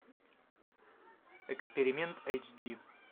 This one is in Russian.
эксперимент эйч ди